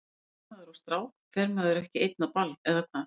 Ef maður er með strák fer maður ekki einn á ball, eða hvað?